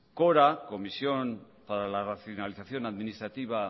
cora comisión para la racionalización administrativa